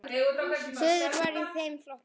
Suður var í þeim flokki.